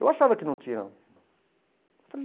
Eu achava que não tinham.